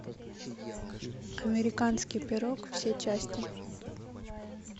американский пирог все части